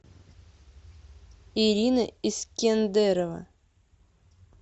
ирина искендерова